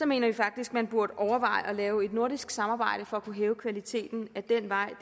mener vi faktisk at man burde overveje at lave et nordisk samarbejde for at kunne hæve kvaliteten ad den vej